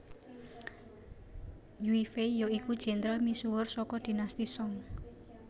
Yue Fei ya iku jendral misuwur saka Dinasti Song